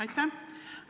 Aitäh!